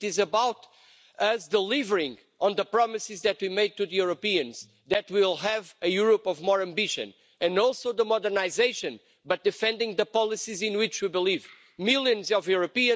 It is about us delivering on the promises that we made to the Europeans that we will have a Europe of more ambition, and also the modernisation, but defending the policies in which we believe, millions of Europeans....